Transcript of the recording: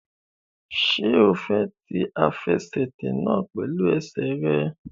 Ṣé o fẹ́ ti àfẹsẹ̀tẹ̀ náà pẹ̀lú ẹsẹ̀ rẹ?